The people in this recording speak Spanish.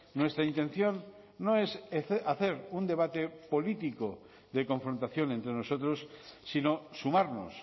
nuestra intención no es hacer un debate político de confrontación entre nosotros sino sumarnos